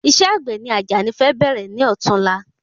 Isẹ́ àgbè ni àjàní fẹ bẹ̀rẹ̀ ní ọ̀tún la